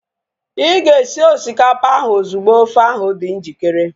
Ịga esi osikapa ahu ozugbo ofe ahu dị njikere